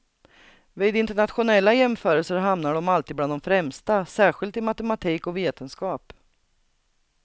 Vid internationella jämförelser hamnar de alltid bland de främsta, särskilt i matematik och vetenskap.